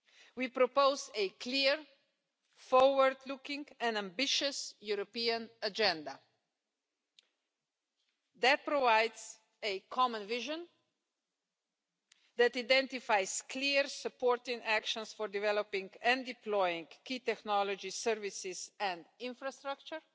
We propose a clear, forward-looking and ambitious European agenda that provides a common vision, identifies clear supporting actions for developing and deploying key technology services and infrastructure,